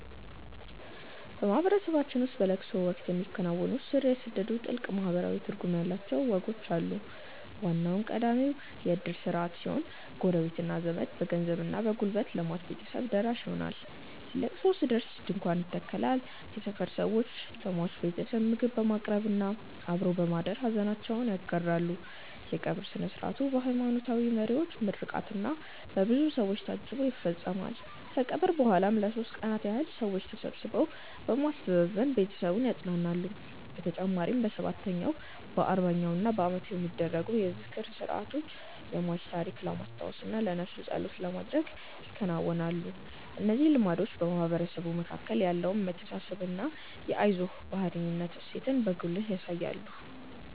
በማህበረሰባችን ውስጥ በለቅሶ ወቅት የሚከናወኑ ስር የሰደዱና ጥልቅ ማህበራዊ ትርጉም ያላቸው ወጎች አሉ። ዋናውና ቀዳሚው የእድር ስርዓት ሲሆን፣ ጎረቤትና ዘመድ በገንዘብና በጉልበት ለሟች ቤተሰቦች ደራሽ ይሆናሉ። ለቅሶ ሲደርስ ድንኳን ይተከላል፣ የሰፈር ሰዎችም ለሟች ቤተሰብ ምግብ በማቅረብና አብሮ በማደር ሐዘናቸውን ይጋራሉ። የቀብር ሥነ ሥርዓቱ በሃይማኖታዊ መሪዎች ምርቃትና በብዙ ሰው ታጅቦ ይፈጸማል። ከቀብር በኋላም ለሦስት ቀናት ያህል ሰዎች ተሰብስበው በማስተዛዘን ቤተሰቡን ያጸናናሉ። በተጨማሪም በሰባተኛው፣ በአርባኛውና በዓመቱ የሚደረጉ የዝክር ሥርዓቶች የሟችን ታሪክ ለማስታወስና ለነፍሱ ጸሎት ለማድረግ ይከናወናሉ። እነዚህ ልማዶች በማህበረሰቡ መካከል ያለውን መተሳሰብና የአይዞህ ባይነት እሴትን በጉልህ ያሳያሉ።